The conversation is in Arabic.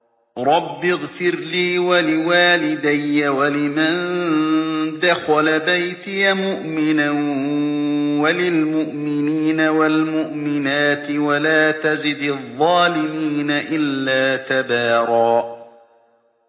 رَّبِّ اغْفِرْ لِي وَلِوَالِدَيَّ وَلِمَن دَخَلَ بَيْتِيَ مُؤْمِنًا وَلِلْمُؤْمِنِينَ وَالْمُؤْمِنَاتِ وَلَا تَزِدِ الظَّالِمِينَ إِلَّا تَبَارًا